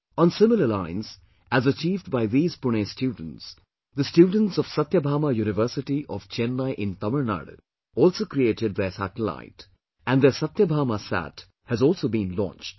On similar lines as achieved by these Pune students, the students of Satyabhama University of Chennai in Tamil Nadu also created their satellite; and their SathyabamaSAT has also been launched